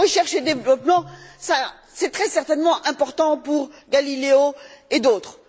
Recherche et développement, c'est très certainement important pour Galileo et d'autres.